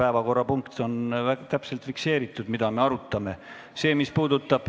Päevakorrapunktis on täpselt fikseeritud, mida me arutame.